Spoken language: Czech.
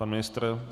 Pan ministr?